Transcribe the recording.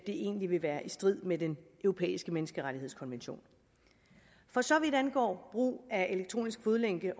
egentlig vil være i strid med den europæiske menneskerettighedskonvention for så vidt angår brug af elektronisk fodlænke